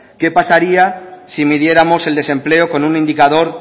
qué pasaría si midiéramos el desempleo con un indicador